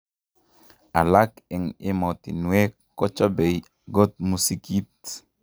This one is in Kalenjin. alak eng emotwinwekkochobei got musikit